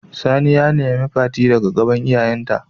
Sani ya nemi Fati a gaban iyayen ta.